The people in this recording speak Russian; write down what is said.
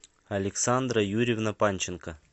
александра юрьевна панченко